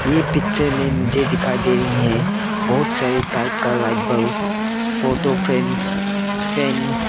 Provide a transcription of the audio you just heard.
यह पिक्चर में मुझे दिखाई दे रही है बहुत सारे टाइप का light bulbs photo frames fan.